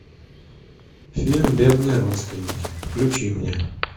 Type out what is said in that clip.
фильм бедные родственники включи мне